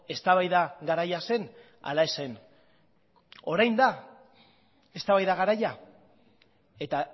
eztabaida garaia zen ala ez zen orain da eztabaida garaia eta